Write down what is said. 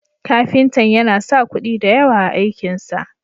Kafintan yana sa kuɗi da yawa a aikin sa.